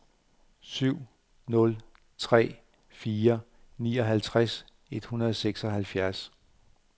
syv nul tre fire nioghalvtreds et hundrede og seksoghalvfjerds